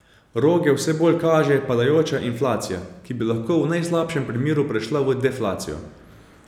Roge vse bolj kaže padajoča inflacija, ki bi lahko v najslabšem primeru prešla v deflacijo.